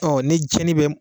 ni jɛni bɛ m